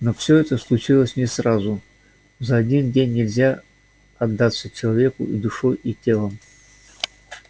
но всё это случилось не сразу за один день нельзя отдаться человеку и душой и телом